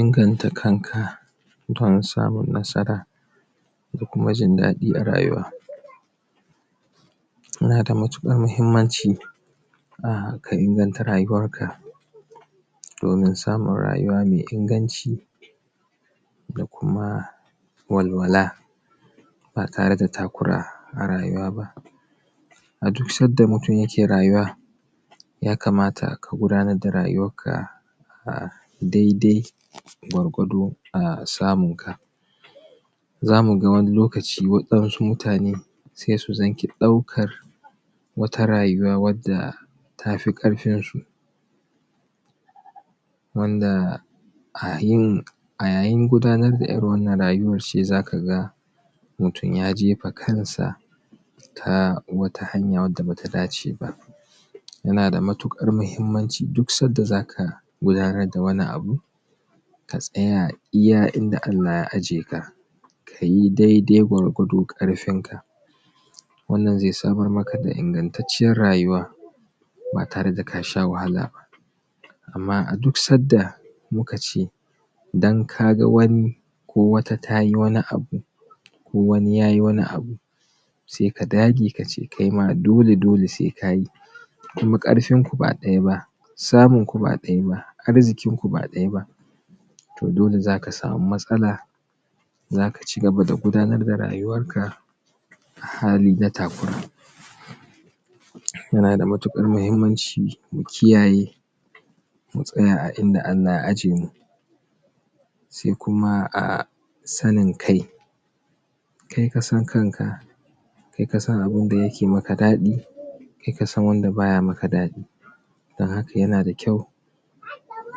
Inganta kanka don samun nasara da kuma jin daɗi a rayuwa Yana da matuƙar mahimmanci ka inganta rayuwar ka domin samun rayuwa mai inganci da kuma walwala ba tare da takura a rayuwa ba a duk sanda mutum ya ke rayuwa ya kamata ka gudanar da rayuwar ka dai-dai gwargwado a samun ka zamu ga wani lokaci waɗansu mutane sai su zangi ɗaukar wata rayuwa wanda tafi ƙarfin su wanda a yin a yayin gudanar da irin wannan rayuwa ce ce zaka ga mutum ya jefa kan sa ta wata hanya wanda baya dace ba yana da matuƙar mahimmanci duk sanda zaka gudanar da wani abu ka tsaya iya inda Allah ya ajiye ka kayi daidai gwargwadon ƙarfin ka wannan zai samar maka da ingantacciyar rayuwa ba tare da kasha wahala ba amma a duk sanda mu kace dan kaga wani ko wata tayi wani abu ko wani yayi wani abu sai ka dage kace kai ma dole dole sai kayi kuma ƙarfin ku ba ɗaya ba, samun ku ba ɗaya ba, arzikin ku ba ɗaya ba to dole zaka sami matsala zaka cigaba da gudanar da rayuwar ka a hali na takura yana da matuƙar mahimmanci mu kiyaye mu tsaya a inda Allah ya ajjiye mu sai kuma sanin kai kai kasan kanka ka kai kasan abunda yake maka daɗi kai kasan wanda baya maka daɗi dan haka yana da kyau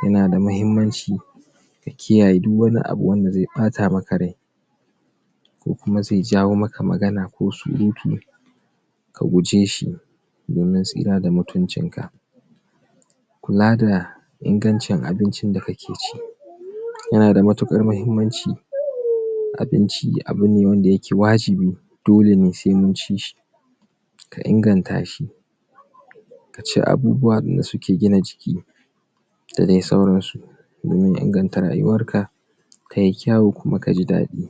yana da mahimmanci ka kiyaye duk wani abu wanda zai ɓata maka rai kokuma zai jawo maka magana ko surutu ka guje shi domin tsira da mutuncin ka kula da ingancin abinci da kake ci yana da matuƙar mahimmanci abinci abu wanda yake wajibi dole ne sai mun ci shi ka inganta shi ka ci abubuwan wanda suke gina jiki da dai sauransu domin inganta rayuwar ka tayi kyau kuma kaji daɗi